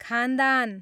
खानदान